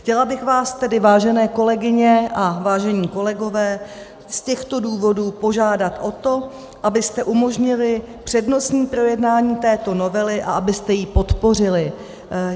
Chtěla bych vás tedy, vážené kolegyně a vážení kolegové, z těchto důvodů požádat o to, abyste umožnili přednostní projednání této novely a abyste ji podpořili.